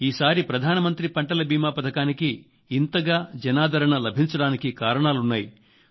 ఈసారి ప్రధానమంత్రి పంటల బీమా పథకానికి ఇంతగా జనాదరణ లభించడానికి కారణాలున్నాయి